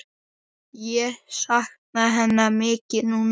Ég sakna hennar mikið núna.